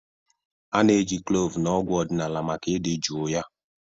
A-na eji kloovu na ọgwụ ọdịnala maka idị juu ya.